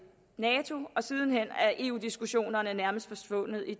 nato og siden hen er eu diskussionerne nærmest forsvundet i